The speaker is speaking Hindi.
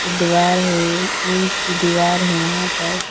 दीवार है ईंट की दीवार है वहां पर।